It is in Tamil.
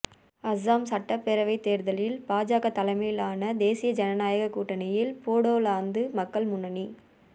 அஸ்ஸாம் சட்டப்பேரவைத் தோ்தலில் பாஜக தலைமையிலான தேசிய ஜனநாயகக் கூட்டணியில் போடோலாந்து மக்கள் முன்னணி